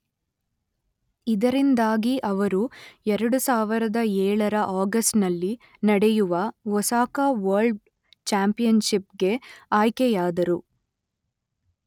ಇದರಿಂದಾಗಿ ಅವರು ಎರಡು ಸಾವಿರದ ಏಳರ ಆಗಸ್ಟ್‌ನಲ್ಲಿ ನಡೆಯುವ ಒಸಾಕ ವರ್ಲ್ಡ್ ಚ್ಯಾಂಪಿಯನ್ಷಿಪ್‌ಗೆ ಆಯ್ಕೆಯಾದರು.